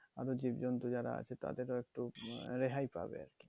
আর ও জীবজন্তু যারা আছে তাদের ও একটু রেহাই পাবে আর কি।